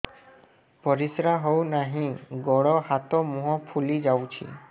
ପରିସ୍ରା ହଉ ନାହିଁ ଗୋଡ଼ ହାତ ମୁହଁ ଫୁଲି ଯାଉଛି